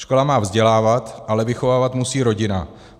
Škola má vzdělávat, ale vychovávat musí rodina.